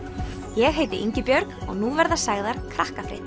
ég heiti Ingibjörg og nú verða sagðar